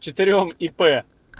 четырём ип